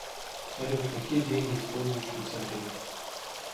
салют какие деньги используют в швейцарии